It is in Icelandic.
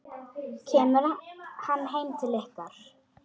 Kemur hann heim til ykkar?